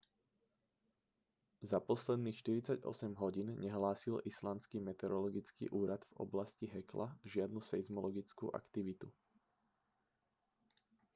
za posledných 48 hodín nehlásil islandský meteorologický úrad v oblasti hekla žiadnu seizmologickú aktivitu